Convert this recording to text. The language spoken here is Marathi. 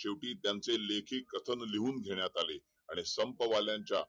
शेवटी त्याचे लेखी कथन लिहून घेण्यात आले आणि आम्हा संपवाल्यांच्या